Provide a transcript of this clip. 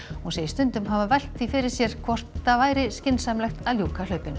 hún segist stundum hafa velt fyrir sér hvort það væri skynsamlegt að ljúka hlaupinu